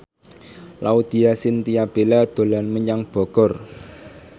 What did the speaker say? Laudya Chintya Bella dolan menyang Bogor